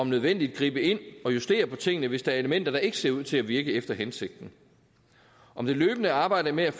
nødvendigt gribe ind og justere på tingene hvis der er elementer der ikke ser ud til at virke efter hensigten om det løbende arbejde med at